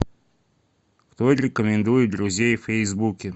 кто рекомендует друзей в фейсбуке